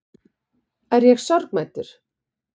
Er ég sorgmæddur?